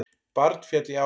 Barn féll í árás